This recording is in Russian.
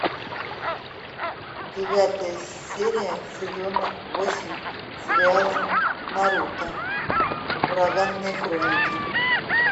девятая серия сезона восемь сериала наруто ураганные хроники